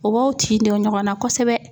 O b'aw tin don ɲɔgɔnna kosɛbɛ.